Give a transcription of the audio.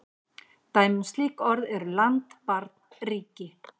Dæmi um slík orð eru land, barn, ríki.